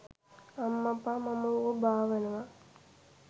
අම්මපා මම ඌව බාවනවා.